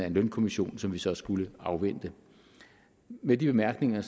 en lønkommission som vi så skulle afvente med de bemærkninger